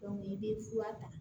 i bɛ fura ta